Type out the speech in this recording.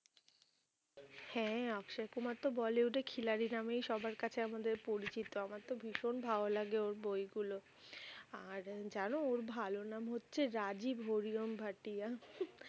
হ্যাঁ অক্ষয় কুমার তো bollywood এ খিলাড়ি নামেই সবার কাছে আমাদের পরিচিত আমার তো ভীষণ ভালো লাগে ওর বই গুলো, আর জানো ওর ভালো নাম হচ্ছে রাজীব হরি ওম ভাটিয়া